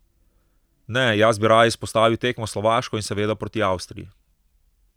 Ne, jaz bi raje izpostavil tekmo s Slovaško in seveda proti Avstriji.